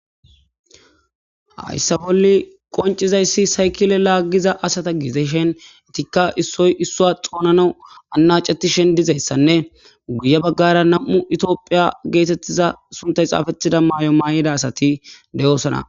Hassa bolli qonccizaysi saykkile lagiza asata giddishin ettika issoy isso xoonanas anaccetishe diizyssane guyye baggara nam'u itophphiya gettetiza sunttay xafetida mayo mayida asati de'ossona.